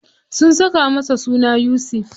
Sun saka masa suna Yusuf.